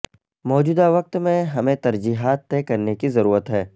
موجودہ وقت میں ہمیں ترجیحات طے کرنے کی ضرورت ہے